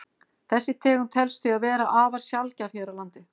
Þessi tegund telst því vera afar sjaldgæf hér á landi.